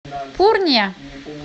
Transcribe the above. пурния